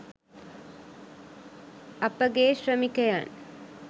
අපෙගේශ්‍රමිකයන්